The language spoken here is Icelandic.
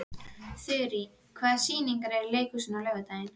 Þurí, hvaða sýningar eru í leikhúsinu á laugardaginn?